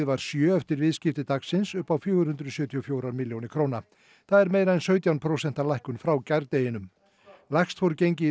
var sjö eftir viðskipti upp á fjögur hundruð sjötíu og fjórar milljónir króna það er meira en sautján prósent lækkun frá gærdeginum lægst fór gengið